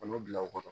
bila u kɔrɔ